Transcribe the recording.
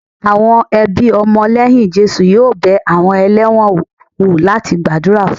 Àwọn ẹbí ọmọ lẹ́yìn Jésù yóò bẹ àwọn ẹlẹ́wọ̀n wò láti gbàdúrà fún wọn